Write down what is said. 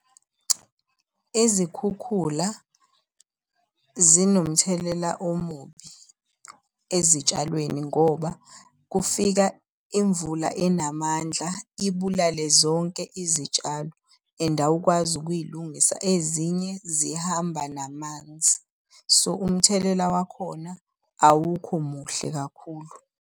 Izikhukhula zinomthelela omubi ezitshalweni ngoba kufika imvula enamandla ibulale zonke izitshalo and awukwazi ukuyilungisa ezinye zihamba namanzi. So umthelela wakhona awukho muhle kakhulu.